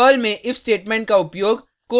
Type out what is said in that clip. Perl में if statement का उपयोग